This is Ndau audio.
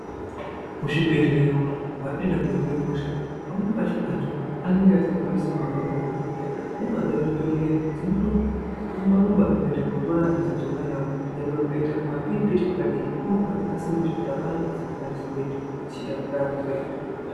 Muzvibhedhlera umu metinoenda koohinwa hosha panweni pacho anthu anenge asikakwanisi kuhamba kuenda kuzvibhedhlera movha dzemuzvibhedhlera dzinotorumba rumba kuenda kootora vanthu dzeidzoka navo nyangwe kukaita kumapiripiti kwakadini imovha dzakasimba zvekuti akuna kwedzisikakwanisi kuenda dzechiitakura anthu dzouya nawo kuchibhedlera.